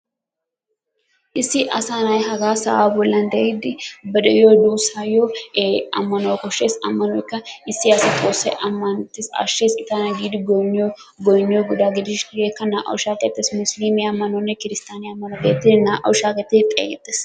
Issi asaa na'ayi hagaa sa'aa bollan de'iiddi ba de'iyo duussaayyo ammanuwa koshshes ammanoykka issi asi xoossawu ammanttes ashshes I tana giidi goynniyogaa gididi hegeekka naa'awu shaahettes. Hegeekka musiliimiya ammanuwanne kiristtoyaniya ammanuwa geetettidi shaakettidi xeegettes.